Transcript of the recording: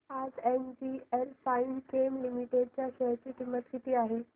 आज NGL Finechem Limited च्या share ची किंमत किती आहे